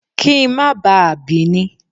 Kí n má bá a bì í ni.